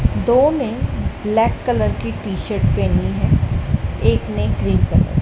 दो ने black colour की टी_शर्ट पहनी है एक ने ग्रीन कलर ।